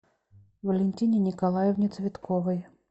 валентине николаевне цветковой